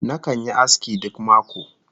Nakan yi aski duk mako